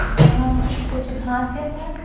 यहां कुछ घांसे हैं।